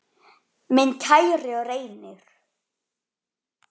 Minn kæri Reynir.